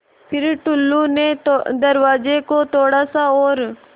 फ़िर टुल्लु ने दरवाज़े को थोड़ा सा और